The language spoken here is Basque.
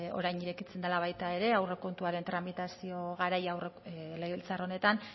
orain irekitzen dela baita ere aurrekontuaren tramitazio garaia legebiltzar honetan